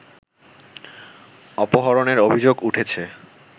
অপহরণের অভিযোগ উঠেছে